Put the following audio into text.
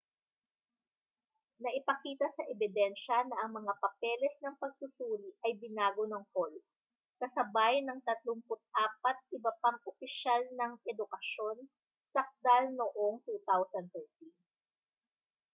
naipakita sa ebidensya na ang mga papeles ng pagsusuri ay binago ng hall kasabay ng 34 iba pang opisyal ng edukasyon sakdal noong 2013